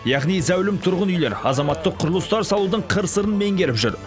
яғни зәулім тұрғын үйлер азаматтық құрылыстар салудың қыр сырын меңгеріп жүр